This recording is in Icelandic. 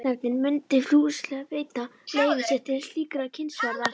Hreppsnefndin myndi fúslega veita leyfi sitt til slíkrar kynnisferðar.